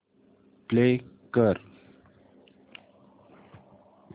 play कर